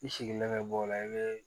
I sigilen bɛ bɔ o la i bɛ